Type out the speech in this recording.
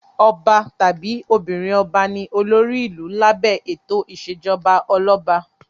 Ọba tàbí obìnrin-ọba ni olórí ìlú lábẹ́ ètò ìṣèjọba ọlọ́ba.